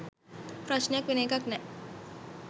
ප්‍රශ්නයක් වෙන එකක් නෑ